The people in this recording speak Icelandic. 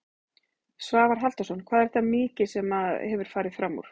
Svavar Halldórsson: Hvað er þetta mikið sem að hefur farið framúr?